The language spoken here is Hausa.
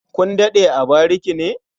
Kun daɗe a barike ne?